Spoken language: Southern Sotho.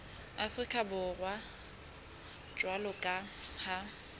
afrika borwa jwalo ka ha